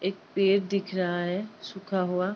एक पेड़ दिख रहा है सूखा हुआ।